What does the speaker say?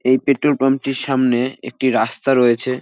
এই পেট্রোল পাম্পটির সামনে একটি রাস্তা রয়েছে।